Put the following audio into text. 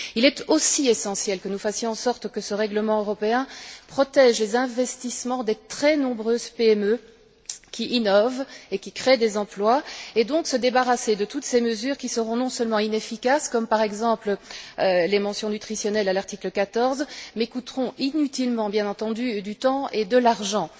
Il est aussi essentiel que nous fassions en sorte que ce règlement européen protège les investissements des très nombreuses PME qui innovent et qui créent des emplois, et donc que nous nous débarrassions de toutes les mesures qui seront non seulement inefficaces, comme par exemple les mentions nutritionnelles à l'article 14, mais coûteront inutilement, bien entendu, du temps et de l'argent